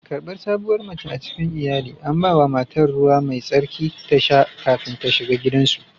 Karbar sabuwar mace a cikin iyali, an ba wa matar ruwa mai tsarki ta sha kafin ta shiga gidansu